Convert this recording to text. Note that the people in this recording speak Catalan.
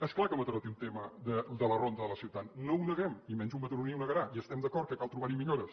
és clar que mataró té un tema de la ronda de la ciutat no ho neguem i menys un mataroní ho negarà i estem d’acord que cal trobar hi millores